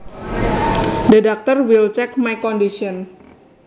The doctor will check my condition